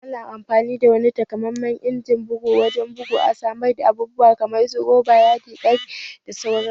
Ana amfani da wani takamammen injimin bugu wurin bugu a saman abubuwa kamar su Roba, Yadi, Ƙarfe da sauran su